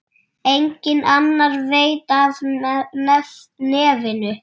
Enginn annar veit af nefinu.